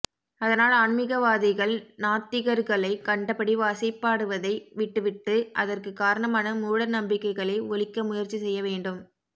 அதனால் ஆன்மிகவாதிகள் நாத்திகர்களைக் கண்டபடி வசைபாடுவதை விட்டுவிட்டு அதற்குக் காரணமான மூடநம்பிக்கைகளை ஒழிக்க முயற்சி செய்ய வேண்டும்